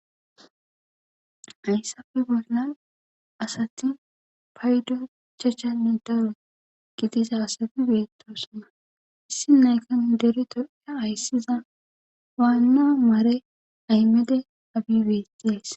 Hayssafe bolla asati paydo chachanne daro gidisa asati beettosona issi nayakanu dere toya hayssiza waanna maare aymede abibediyays